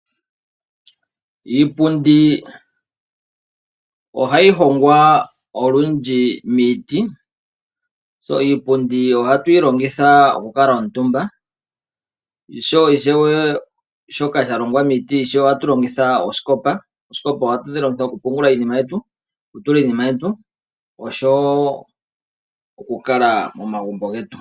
Iipundi ohayi hongwa olundji miiti. Tse iipundi ohatu yi longitha oku kuutumba, osho wo ishewe shoka sha longwa miiti ishewe, osikopa. Oosikopa ohatu dhi longitha oku pungula iinima yetu, oku tula iinima yetu, osho wo okukala momagumbo getu.